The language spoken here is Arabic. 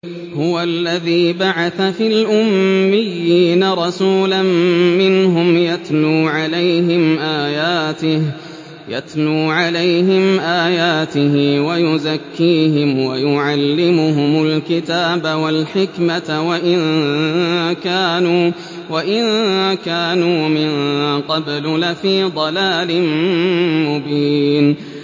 هُوَ الَّذِي بَعَثَ فِي الْأُمِّيِّينَ رَسُولًا مِّنْهُمْ يَتْلُو عَلَيْهِمْ آيَاتِهِ وَيُزَكِّيهِمْ وَيُعَلِّمُهُمُ الْكِتَابَ وَالْحِكْمَةَ وَإِن كَانُوا مِن قَبْلُ لَفِي ضَلَالٍ مُّبِينٍ